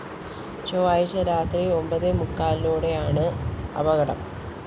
ചൊവ്വാഴ്ച രാത്രി ഒമ്പതേമുക്കാലോടെയാണ് അപകടം